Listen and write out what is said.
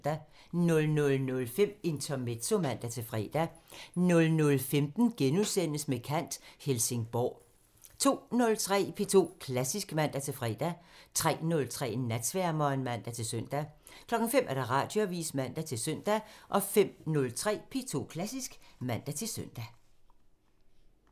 00:05: Intermezzo (man-fre) 00:15: Med kant – Helsingborg * 02:03: P2 Klassisk (man-fre) 03:03: Natsværmeren (man-søn) 05:00: Radioavisen (man-søn) 05:03: P2 Klassisk (man-søn)